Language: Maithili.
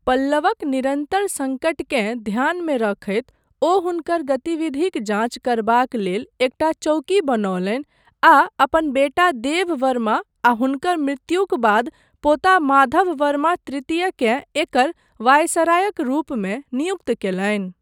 पल्लवक निरन्तर सङ्कटकेँ ध्यानमे रखैत ओ हुनकर गतिविधिक जाँच करबाक लेल एकटा चौकी बनौलनि आ अपन बेटा देव वर्मा आ हुनकर मृत्युक बाद पोता माधव वर्मा तृतीय केँ एकर वायसरायक रूपमे नियुक्त कयलनि।